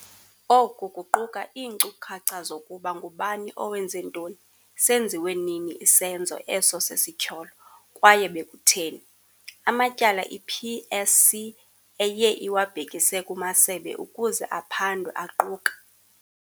Oku kuquka iinkcukacha zokuba ngubani owenze ntoni, senziwe nini isenzo eso sesityholo, kwaye bekutheni. Amatyala i-PSC eye iwabhekise kumasebe ukuze aphandwe, aquka.